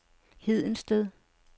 Hedensted